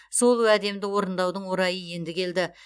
сол уәдемді орындаудың орайы енді келді